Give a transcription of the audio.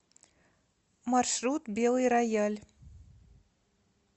маршрут белый рояль